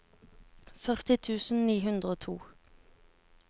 førti tusen ni hundre og to